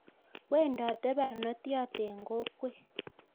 Wendote barnotyot en kokwet